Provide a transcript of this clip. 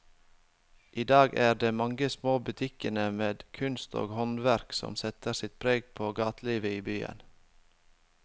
I dag er det de mange små butikkene med kunst og håndverk som setter sitt preg på gatelivet i byen.